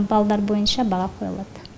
балдар бойынша баға қойылады